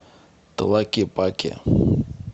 тлакепаке